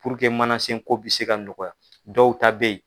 Puruke manasen ko bɛ se ka nɔgɔya dɔw ta bɛ yen